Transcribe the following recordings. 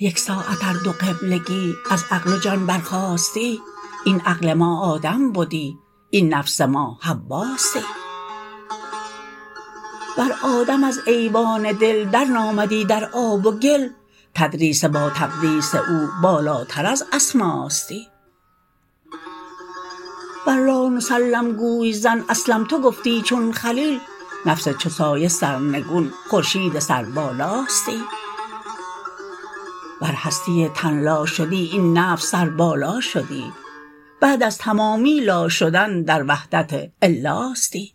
یک ساعت ار دو قبلکی از عقل و جان برخاستی این عقل ما آدم بدی این نفس ما حواستی ور آدم از ایوان دل درنامدی در آب و گل تدریس با تقدیس او بالاتر از اسماستی ور لانسلم گوی ظن اسلمت گفتی چون خلیل نفس چو سایه سرنگون خورشید سربالاستی ور هستی تن لا شدی این نفس سربالا شدی بعد از تمامی لا شدن در وحدت الاستی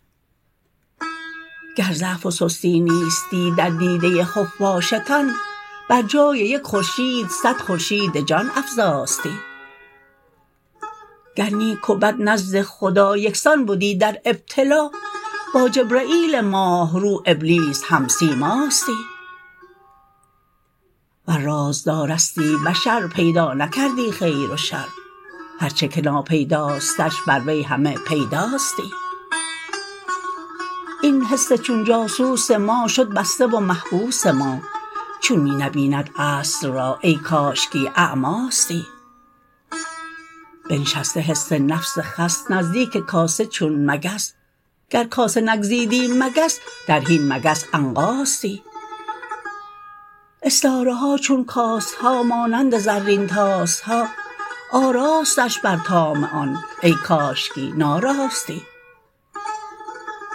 گر ضعف و سستی نیستی در دیده خفاش تن بر جای یک خورشید صد خورشید جان افزاستی گر نیک و بد نزد خدا یک سان بدی در ابتلا با جبرییل ماه رو ابلیس هم سیماستی ور رازدارستی بشر پیدا نکردی خیر و شر هر چه که ناپیداستش بر وی همه پیداستی این حس چون جاسوس ما شد بسته و محبوس ما چون می نبیند اصل را ای کاشکی اعماستی بنشسته حس نفس خس نزدیک کاسه چون مگس گر کاسه نگزیدی مگس در حین مگس عنقاستی استاره ها چون کاس ها مانند زرین طاس ها آراستش بر طامعان ای کاشکی ناراستی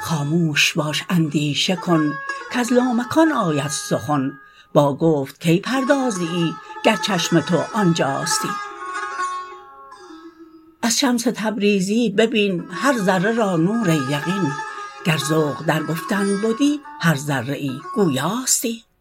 خاموش باش اندیشه کن کز لامکان آید سخن با گفت کی پردازیی گر چشم تو آن جاستی از شمس تبریزی ببین هر ذره را نور یقین گر ذوق در گفتن بدی هر ذره ای گویاستی